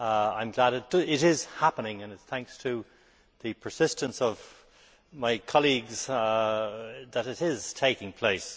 I am glad it is happening, and it is thanks to the persistence of my colleagues that it is taking place.